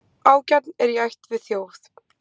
Ágjarn er í ætt við þjóf.